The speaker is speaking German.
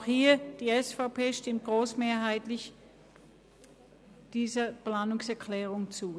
Auch hier stimmt die SVP-Fraktion der Planungserklärung zu.